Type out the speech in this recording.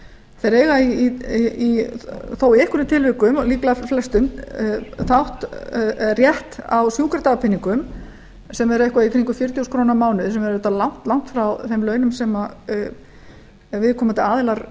þeir eiga þó í einhverjum tilvikum líklega flestum rétt á sjúkradagpeningum sem er eitthvað í kringum fjörutíu þúsund krónur á mánuði sem er auðvitað langt frá þeim launum sem viðkomandi aðilar